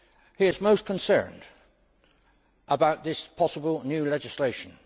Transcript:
He is most concerned about this possible new legislation.